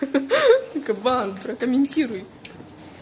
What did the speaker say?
хи-хи кабан прокомментируй